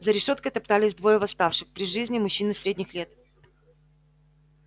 за решёткой топтались двое восставших при жизни мужчины средних лет